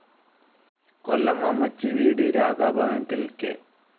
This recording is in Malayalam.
കൊല്ലം അമ്മച്ചിവീട് രാധാഭവനത്തിൽ കെ.